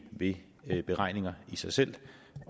ved ved beregninger i sig selv